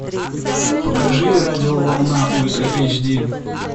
покажи радио волна ультра эйч ди